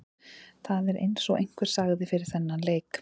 Það er eins og einhver sagði fyrir þennan leik.